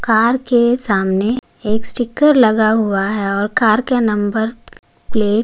car के सामने एक स्टिकर लगा हुआ है और कार के नंबर प्लेट --